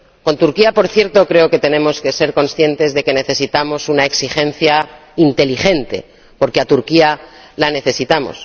con Turquía, por cierto, creo que tenemos que ser conscientes de que necesitamos una exigencia inteligente, porque a Turquía la necesitamos.